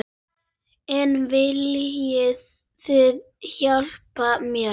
En viljið þið hjálpa mér?